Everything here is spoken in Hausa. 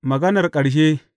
Maganar ƙarshe.